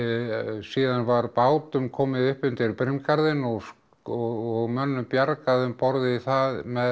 síðan var bátum komið upp undir brimgarðinn og og mönnum bjargað um borð í það